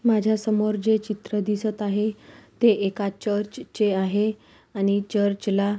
माझ्यासमोर जे चित्र दिसत आहे. ते एका चर्चचे आहे आणि चर्च ला --